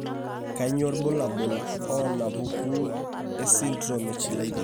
Kainyio irbulabul onaapuku esindirom eChilaiditi?